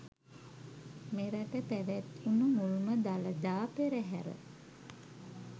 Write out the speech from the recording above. මෙරට පැවැත්වුණු මුල්ම දළදා පෙරහර